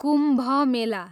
Kumbh Mela